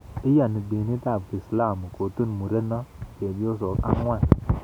Iyani dinit ab kiislamu Kotun muren chebyosok angwan